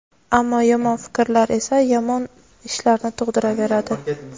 ammo yomon fikrlar esa yomon ishlarni tug‘diraveradi.